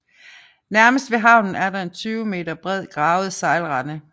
Nærmest ved havnen er der en 20 m bred gravet sejlrende